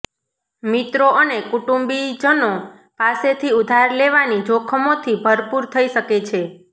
મિત્રો અને કુટુંબીજનો પાસેથી ઉધાર લેવાથી જોખમોથી ભરપુર થઈ શકે છે